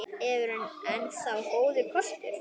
Evran enn þá góður kostur